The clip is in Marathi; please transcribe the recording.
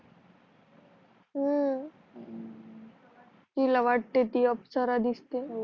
हु तिला वाटते ती अप्सरा दिसते